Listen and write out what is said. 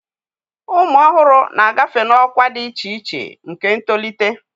Ụmụ ọhụrụ na-agafe n'ọkwa dị iche iche nke ntolite